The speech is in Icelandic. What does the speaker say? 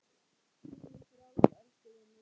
Fljúgðu frjáls, elsku vinur.